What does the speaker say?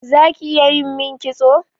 Zaki iya yimin kitso?